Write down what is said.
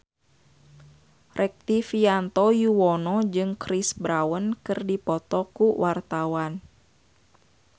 Rektivianto Yoewono jeung Chris Brown keur dipoto ku wartawan